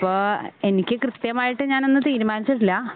അപ്പോ എനിക്ക് കൃത്യമായിട്ട് ഞാനൊന്നും തീരുമാനിച്ചിട്ടില്ല.